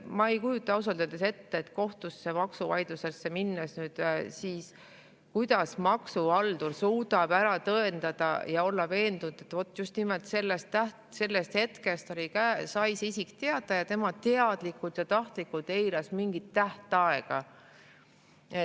Ma ei kujuta ausalt öeldes ette, kuidas kohtusse maksuvaidlusesse minnes maksuhaldur suudab ära tõendada ja olla veendunud, et vot just nimelt sellest hetkest oli käes, isik sai teada ja teadlikult ja tahtlikult eiras mingit tähtaega.